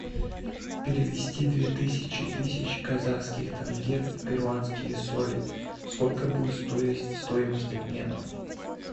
перевести две тысячи тысяч казахских тенге в перуанские соли сколько будет стоить стоимость обмена